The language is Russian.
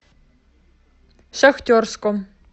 шахтерском